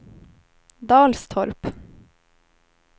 Dalstorp